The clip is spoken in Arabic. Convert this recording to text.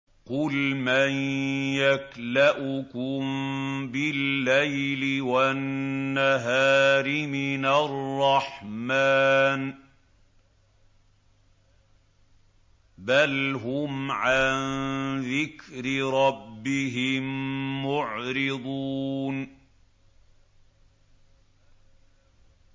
قُلْ مَن يَكْلَؤُكُم بِاللَّيْلِ وَالنَّهَارِ مِنَ الرَّحْمَٰنِ ۗ بَلْ هُمْ عَن ذِكْرِ رَبِّهِم مُّعْرِضُونَ